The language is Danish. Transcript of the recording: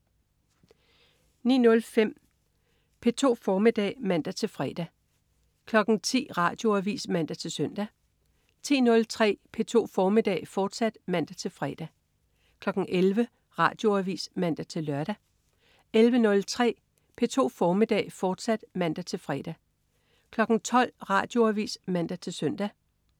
09.05 P2 formiddag (man-fre) 10.00 Radioavis (man-søn) 10.03 P2 formiddag, fortsat (man-fre) 11.00 Radioavis (man-lør) 11.03 P2 formiddag, fortsat (man-fre) 12.00 Radioavis (man-søn)